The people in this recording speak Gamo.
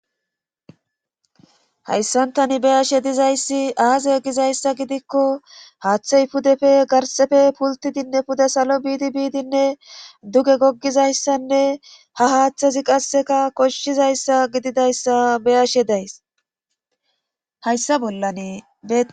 Hayssantani beyashe dizayssi aaze gizayssa gidikko haaththey pudefe garsefe pultidinne pude salo biidi biidinne duge goggizayssanne ha haaththazi qasseka koshshizayssa gididayssa beyashe days hayssa bollani be